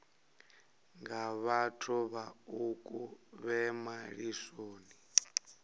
nga vhathu vhaṱuku vhe malisoni